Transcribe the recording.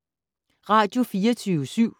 Radio24syv